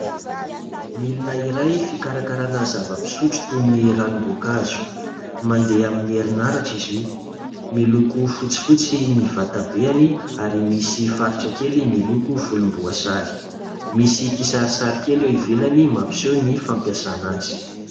Milina iray fikarakarana zava-pisotro toy ny ranombonkazo, mandeha amin'ny herinaratra izy io miloko fotsifotsy ny vatabeany ary misy faritra kely miloko volomboasary, misy kisari sary kely eo ivelany mampiseho ny fampiasana azy.